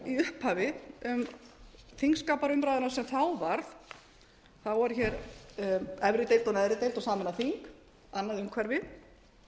í upphafi um þingskapaumræðuna sem þá var þá voru hér efri deild neðri deild og sameinað þing annað umhverfi